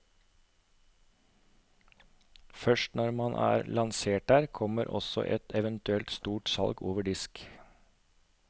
Først når man er lansert der, kommer også et eventuelt stort salg over disk.